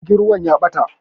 Jirgin ruwan ya ɓata